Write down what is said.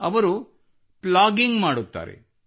ಅವರು ಪ್ಲಾಗಿಂಗ್ ಮಾಡುತ್ತಾರೆ